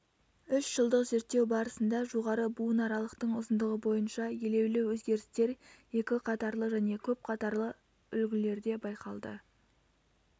үш жылдық зерттеу барысында жоғары буынаралықтың ұзындығы бойынша елеулі өзгерістер екі қатарлы және көп қатарлы үлгілерде байқалды